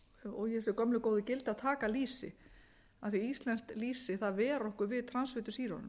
og í þessi gömlu góðu gildi að taka lýsi af því íslensk lýsi ver okkur við transfitusýrunum